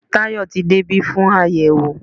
Tayọ tí de ibi fún ayẹwo